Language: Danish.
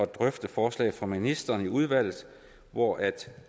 drøfte forslaget fra ministeren i udvalget hvor